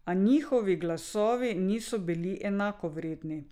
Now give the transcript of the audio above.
A njihovi glasovi niso bili enakovredni.